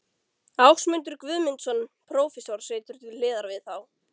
Ásmundur Guðmundsson, prófessor, situr til hliðar við þá.